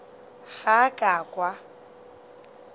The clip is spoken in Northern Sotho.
ga a ka a kwa